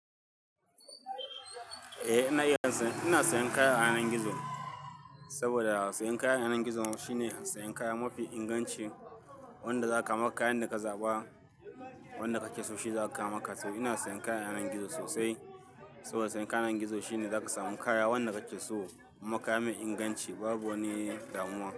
Eh, ina iya, ina sayan kaya a hanan gizo saboda sayan kaya a hanan gizo shine sayan kaya mafi inganci. Wanda zaka kaman kayan da ka zaɓa, wanda kake so shi zaka ama ka. Saboda ina sayan kaya a hanan gizo sosai. Saboda sayan kaya a ayanan gizo shine zaka samu kaya wanda kake so. Ma kaya mai inganci babu wani damuwa.